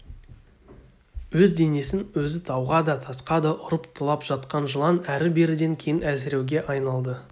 өз денесін өзі тауға да тасқа да ұрып тулап жатқан жылан әрі-беріден кейін әлсіреуге айналды